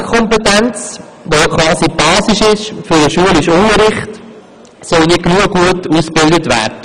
Die Lesekompetenz, welche die Basis für den schulischen Unterricht ist, soll nicht genügend gut ausgebildet werden.